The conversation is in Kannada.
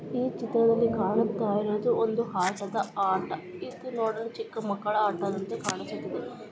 ಈ ಚಿತ್ರದಲ್ಲಿ ಕಾಣುತ್ತ ಇರೋದು ಒಂದು ಆಟದ ಆಟ ಇದು ನೋಡಲು ಚಿಕ್ಕ ಮಕ್ಕಳ ಆಟದಂತೆ ಕಾಣುತಿತು.